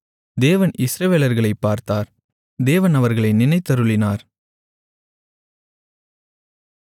தேவன் இஸ்ரவேலர்களைப் பார்த்தார் தேவன் அவர்களை நினைத்தருளினார்